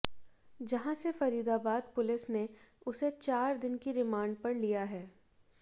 जहां से फरीदाबाद पुलिस ने उसे चार दिन की रिमांड पर लिया है